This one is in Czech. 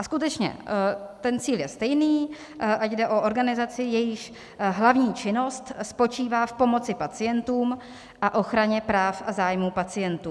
A skutečně ten cíl je stejný, ať jde o organizaci, jejíž hlavní činnost spočívá v pomoci pacientům a ochraně práv a zájmů pacientů.